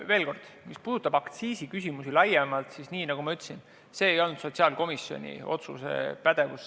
Veel kord: mis puudutab aktsiisiküsimusi laiemalt, siis nagu ma ütlesin, see ei kuulu sotsiaalkomisjoni pädevusse.